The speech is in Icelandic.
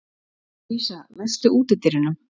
Lúísa, læstu útidyrunum.